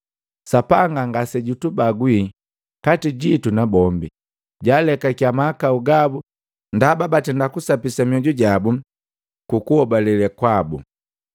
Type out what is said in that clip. Sapanga ngasejutubagwi kati jitu na bombi, jaalekakia mahakau gabu ndaba batenda kusapisa mioju jabu kukuhobale kwabu.